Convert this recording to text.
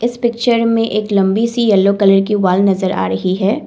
इस पिक्चर मे एक लंबी सी येलो कलर की वॉल नज़र आ रही है।